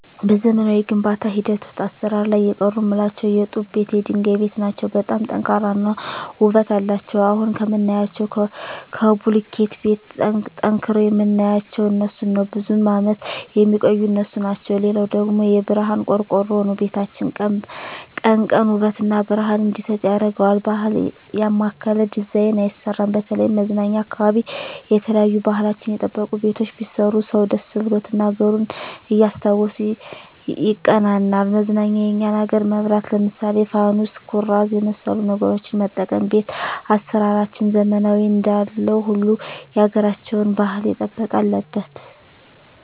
በዘመናዊ የግንባታ ሂደት ውሰጥ አሰራር ላይ የቀሩ ምላቸው የጡብ ቤት የድንጋይ ቤት ናቸው በጣም ጠንካራ እና ውበት አለቸው አሁን ከምናያቸው ከቡልኪት ቤት ጠንቅረዉ ምናያቸው እነሡን ነው ብዙም አመት የሚቆዩ እነሡ ናቸው ሌላው ደግሞ የብረሀን ቆርቆሮ ነው ቤታችን ቀን ቀን ውበት እና ብረሀን እንዲሰጥ ያረገዋል ባህል ያማከለ ዲዛይን አይሰራም በተለይም መዝናኛ አካባቢ የተለያዩ ባህልችን የጠበቁ ቤቶች ቢሰሩ ሰው ደስ ብሎት እና አገሩን እያስታወሱ ይቀናናል መዝናኛ የኛን አገር መብራት ለምሳሌ ፋኑስ ኩራዝ የመሠሉ ነገሮች መጠቀም ቤት አሰራራችንን ዘመናዊ እንዳለው ሁሉ ያገራቸውን ባህል የጠበቀ አለበት